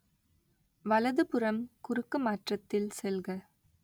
வலது புறம் குறுக்குமாற்றத்தில் செல்க